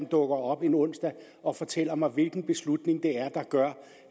dukker op en onsdag og fortæller mig hvilken beslutning det er der gør